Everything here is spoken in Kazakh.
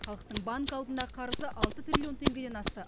халықтың банк алдындағы қарызы алты триллион теңгеден асты